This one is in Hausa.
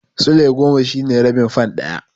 Sulai goma shine rabin fan ɗaya.